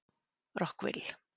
Rockville